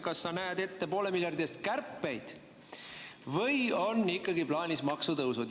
Kas sa näed ette poole miljardi eest kärpeid või on ikkagi plaanis maksutõusud?